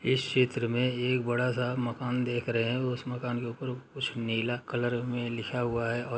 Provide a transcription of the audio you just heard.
इस चित्र में एक बड़ा सा मकान देख रहे हैं उस मकान के ऊपर कुछ नीला कलर में लिखा हुआ है और --